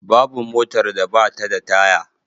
Babu motar da ba ta da taya.